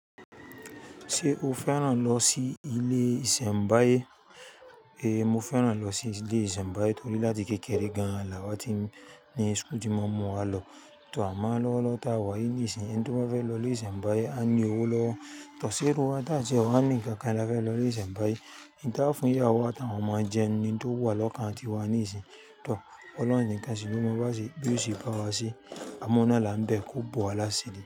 Ṣé o fẹ́ràn lọ sí ilé ìsẹ̀mbáyé? Ée, mo fẹ́ràn lọ sí ilé ìsẹ̀mbáyé torí láti kékeré gan, làwa ti ní school tí maa n mú wa lọ. To, àmọ ń lọwọlọwọ ta wá yí níìsín, ẹni tó bá fẹ́ lọ ilé ìsẹ̀mbáyé á ní owó lọ. Tọ ṣé irú wa tá tíẹ wá ní nǹkankan la fẹ́ lọ ilé ìsẹ̀mbáyé, n ta á fún ìyáwo atáwọn ọmọ jẹ ni n tó wà lọ́kàn tiwa níìsín. Tọ ọlọ́run ǹikan sì ló mọ bí ó ṣe báwa se, amọ́ oun naa la ń bẹ, kó bòwá lásiri.